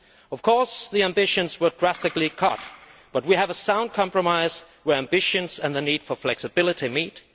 Of course, ambitions were drastically cut, but we have a sound compromise where ambitions and the need for flexibility meet.